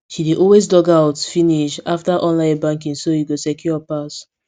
she dey always logout finish after online banking so e go secure pass